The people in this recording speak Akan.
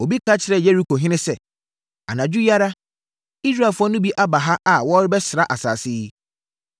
Obi kɔka kyerɛɛ Yerikohene sɛ, “Anadwo yi ara, Israelfoɔ no bi aba ha a wɔrebɛsra asase yi.”